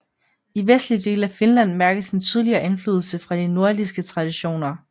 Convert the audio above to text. I vestlige dele af Finland mærkes en tydeligere indflydelse fra de nordiske traditioner